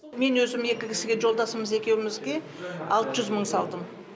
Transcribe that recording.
мен өзім екі кісіге жолдасымыз екеумізге алты жүз мың салдым